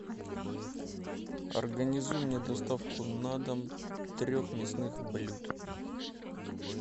организуй мне доставку на дом трех мясных блюд